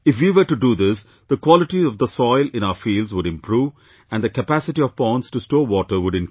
If we were to do this, the quality of the soil in our fields would improve and the capacity of ponds to store water would increase